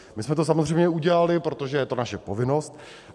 My jsme to samozřejmě udělali, protože to je naše povinnost.